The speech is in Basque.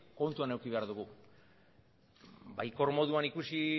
kontuan eduki behar dugu baikor moduan ikusi